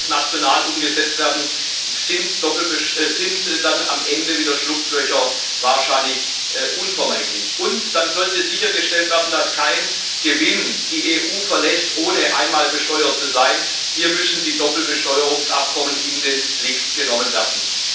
Denn sollte es national umgesetzt werden, sind dann am Ende wieder Schlupflöcher wahrscheinlich unvermeidlich. Dann sollte sichergestellt werden, dass kein Gewinn die EU verlässt, ohne einmal besteuert zu sein hier müssen die Doppelbesteuerungsabkommen in den Blick genommen werden.